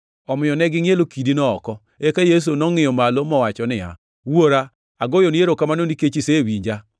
Omiyo ne gingʼielo kidino oko. Eka Yesu nongʼiyo malo mowacho niya, “Wuora, agoyoni erokamano nikech isewinja.